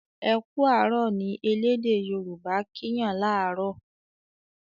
"Eku arọ" ní ẹlẹdẹ yoruba' kín Yàn laarọ